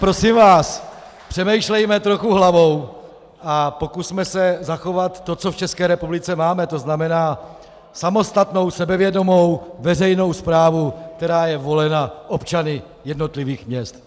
Prosím vás, přemýšlejme trochu hlavou a pokusme se zachovat to, co v České republice máme, to znamená samostatnou sebevědomou veřejnou správu, která je volena občany jednotlivých měst.